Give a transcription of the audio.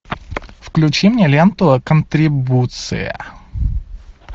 включи мне ленту контрибуция